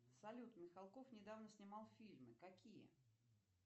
салют михалков недавно снимал фильмы какие